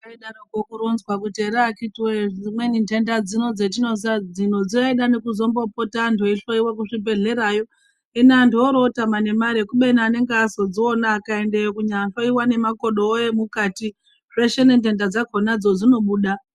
Zvaidarokwo kuronzwa kuti ere akhiti woye dzimweni nhenda dzino dzatinozwa dzinoda antu achizombopota achihloyiwa kuchibhedherayo. Hino antu oro otama nemari kubeni anenge azodziona vakaendayo kunyahloyiwa nemakodowo emukati zveshe nenhenda dzakhonadzo dzinobuda.